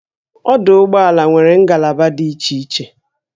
Ọdụ ụgbọala nwere ngalaba dị iche iche